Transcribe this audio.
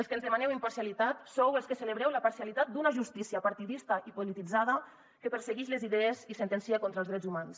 els que ens demaneu imparcialitat sou els que celebreu la parcialitat d’una justícia partidista i polititzada que perseguix les idees i sentencia contra els drets humans